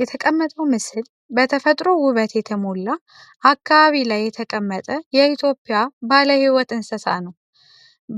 የተቀመጠው ምስል በየተፈጥሮ ውበት የተሞላ አካባቢ ላይ የተቀመጠ የኢትዮጵያ ባለህይወት እንስሳ ነው።